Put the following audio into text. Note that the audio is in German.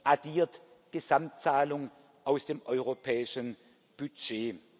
addiert Gesamtzahlungen aus dem europäischen Budget.